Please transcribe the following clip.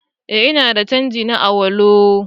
Eh ina da canji na Awolowo